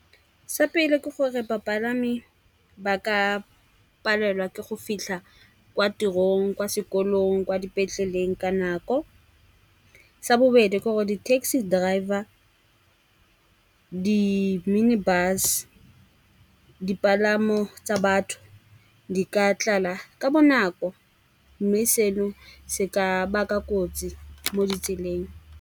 Sa pele, ke gore bapalami ba ka palelwa ke go fitlha kwa tirong, kwa sekolong, kwa dipetleleng ka nako. Sa bobedi, ke gore di-taxi driver, di-minibus, dipalamo tsa batho di ka tlala ka bonako. Mme seno se ka baka kotsi mo ditseleng.